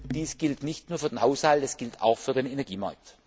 Dies gilt nicht nur für den Haushalt, es gilt auch für den Energiemarkt.